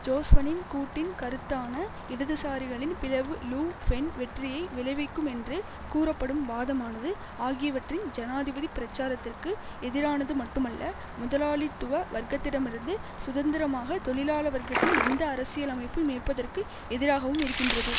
ஜொஸ்பனின் கூட்டின் கருத்தான இடதுசாரிகளின் பிளவு லு ஃபென் வெற்றியை விளைவிக்கும் என்று கூறப்படும் வாதமானது ஆகியவற்றின் ஜனாதிபதிப் பிரச்சாரத்துக்கு எதிரானது மட்டுமல்ல முதலாளித்துவ வர்க்கத்திடமிருந்து சுதந்திரமாக தொழிலாள வர்க்கத்தின் எந்த அரசியல் அமைப்பும் இருப்பதற்கு எதிராகவும் இருக்கின்றது